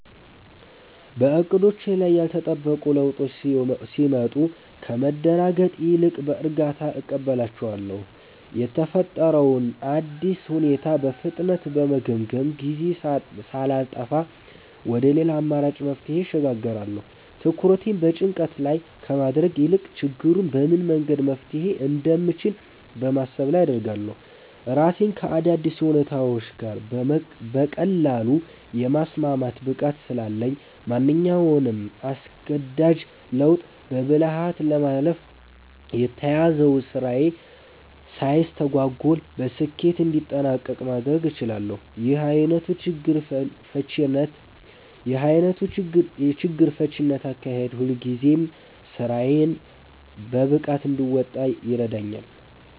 በዕቅዶቼ ላይ ያልተጠበቁ ለውጦች ሲመጡ ከመደናገጥ ይልቅ በእርጋታ እቀበላቸዋለሁ። የተፈጠረውን አዲስ ሁኔታ በፍጥነት በመገምገም፣ ጊዜ ሳላጠፋ ወደ ሌላ አማራጭ መፍትሄ እሸጋገራለሁ። ትኩረቴን በጭንቀት ላይ ከማድረግ ይልቅ ችግሩን በምን መንገድ መፍታት እንደምችል በማሰብ ላይ አደርጋለሁ። ራሴን ከአዳዲስ ሁኔታዎች ጋር በቀላሉ የማስማማት ብቃት ስላለኝ፣ ማንኛውንም አስገዳጅ ለውጥ በብልሃት በማለፍ የተያዘው ስራዬ ሳይስተጓጎል በስኬት እንዲጠናቀቅ ማድረግ እችላለሁ። ይህ ዓይነቱ የችግር ፈቺነት አካሄዴ ሁልጊዜም ስራዎቼን በብቃት እንድወጣ ይረዳኛል።